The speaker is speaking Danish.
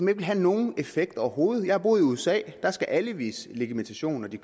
vil have nogen effekt overhovedet jeg har boet i usa der skal alle vise legitimation når de